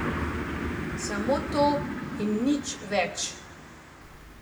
Samo to in nič več.